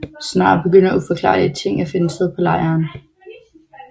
Snart begynder uforklarlige ting at finde sted på lejren